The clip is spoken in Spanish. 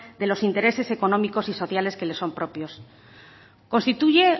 de los intereses económicos y sociales que les son propios